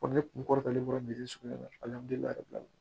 ne kun kɔrɔkɛ bɔra biri sugu in na alihamudulilayi bi